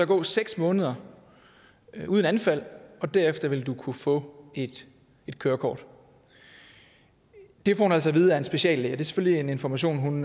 gå seks måneder uden anfald og derefter vil du kunne få et kørekort det får hun altså at vide af en speciallæge og det er selvfølgelig en information hun